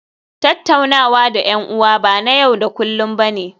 Tattaunawa da 'yan'uwa ba na yau da kullun ba ne